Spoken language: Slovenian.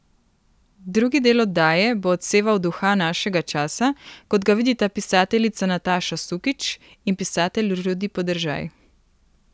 Drugi del oddaje bo odseval duha našega časa, kot ga vidita pisateljica Nataša Sukič in pisatelj Rudi Podržaj.